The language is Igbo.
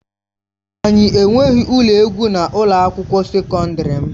Anyị enweghị ụlọ egwu na ụlọ akwụkwọ sekọndrị m.